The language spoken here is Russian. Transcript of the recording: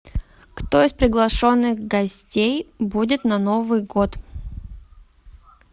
кто из приглашенных гостей будет на новый год